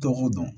Dɔgɔ dɔn